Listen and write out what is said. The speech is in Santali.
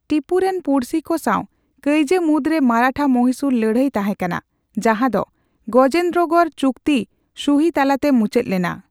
ᱴᱤᱯᱩ ᱨᱮᱱ ᱯᱩᱲᱥᱤ ᱠᱚ ᱥᱟᱣ ᱠᱟᱹᱭᱡᱟᱹ ᱢᱩᱫᱽᱨᱮ ᱢᱟᱨᱟᱴᱷᱟᱼᱢᱚᱦᱤᱥᱩᱨ ᱞᱟᱹᱲᱦᱟᱹᱭ ᱛᱟᱸᱦᱮ ᱠᱟᱱᱟ ᱾ ᱡᱟᱦᱟᱫᱚ ᱜᱚᱡᱮᱱᱫᱨᱚᱜᱚᱲ ᱪᱩᱠᱛᱤ ᱥᱩᱦᱤ ᱛᱟᱞᱟᱛᱮ ᱢᱩᱪᱟᱹᱫ ᱞᱮᱱᱟ ᱾